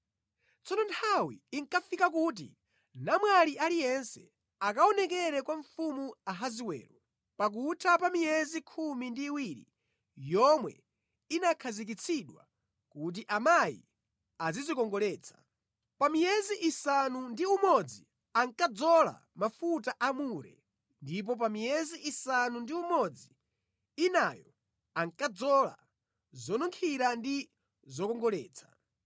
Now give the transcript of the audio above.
Tsono nthawi inkafika kuti namwali aliyense akaonekere kwa mfumu Ahasiwero, pakutha pa miyezi khumi ndi iwiri yomwe inakhazikitsidwa kuti amayi azidzikongoletsa. Pa miyezi isanu ndi umodzi ankadzola mafuta a mure ndipo pa miyezi isanu ndi umodzi inayo ankadzola zonunkhira ndi zokongoletsa.